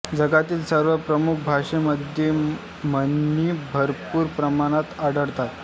जगातील सर्व प्रमुख भाषांमध्ये म्हणी भरपूर प्रमाणात आढळतात